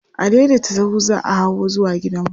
Adaidaita sahu za hawo zuwa gidanmu.